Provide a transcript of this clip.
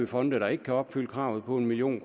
fonde der ikke kan opfylde kravet på en million